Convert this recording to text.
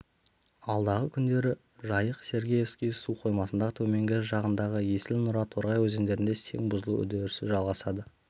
алдағы күндері жайық сергеевский су қоймасының төменгі жағындағы есіл нұра торғай өзендерінде сең бұзылу үдерісі жалғасады